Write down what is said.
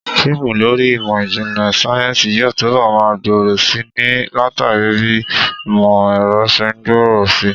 Fíìmù lórí ìmọ̀ ìjìnlẹ̀ sáyẹ́ǹsì yóò túbọ̀ máa gbòòrò si ni, látàrí bí ìmọ̀ ẹ̀rọ ṣe ń gbòòrò si